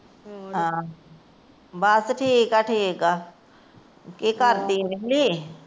ਬਸ ਠੀਕ ਠੀਕ ਏ, ਕਿ ਕਰਦੀ ਏ?